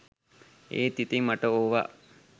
ඒත් ඉතින් මට ඕව